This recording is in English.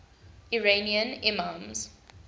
iranian imams